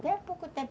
Até há pouco tempo.